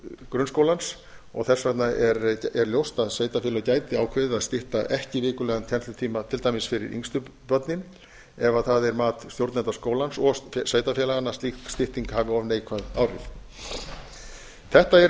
grunnskólans þess vegna er ljóst að sveitarfélög gætu ákveðið að stytta ekki vikulegan kennslutíma til dæmis fyrir yngstu börnin ef það er mat stjórnenda skólans og sveitarfélaganna að slík stytting hafi of neikvæð áhrif þetta er